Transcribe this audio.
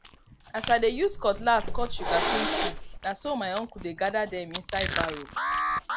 as i dey use cutlass cut sugarcane stick na so my uncle dey gather them inside barrow